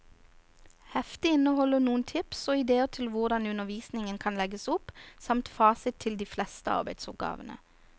Heftet inneholder noen tips og idéer til hvordan undervisningen kan legges opp, samt fasit til de fleste arbeidsoppgavene.